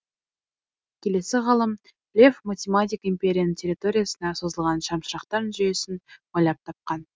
келесі ғалым лев математик империяның территориясына созылған шамшырақтар жүйесін ойлап тапқан